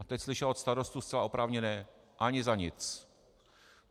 A teď slyšela od starostů zcela oprávněné: ani za nic.